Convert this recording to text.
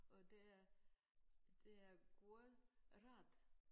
Og det er det er god ret